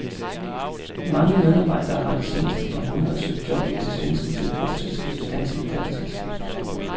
Mange medarbejdere har de seneste par måneder søgt job i det svenske telefonselskabs danske datterselskab.